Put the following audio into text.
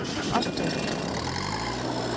opfølgning